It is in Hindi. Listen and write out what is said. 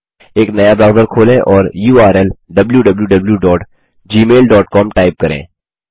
एक नया ब्राउज़र खोलें और युआरएल wwwgmailcom टाइप करें